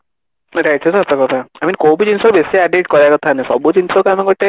ହଁ ଏଇଟା ଟା ସତ କଥା I mean କୋଉ ବି ଜିନିଷ ବେଶୀ addict କରିବା କଥା ନୁହେଁ ସବୁ ଜିନିଷକୁ ଆମେ ଗୋଟେ